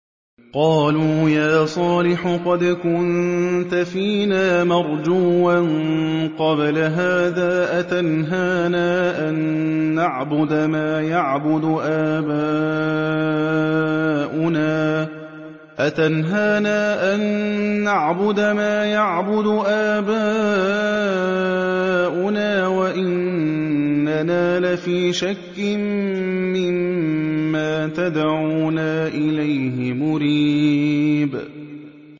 قَالُوا يَا صَالِحُ قَدْ كُنتَ فِينَا مَرْجُوًّا قَبْلَ هَٰذَا ۖ أَتَنْهَانَا أَن نَّعْبُدَ مَا يَعْبُدُ آبَاؤُنَا وَإِنَّنَا لَفِي شَكٍّ مِّمَّا تَدْعُونَا إِلَيْهِ مُرِيبٍ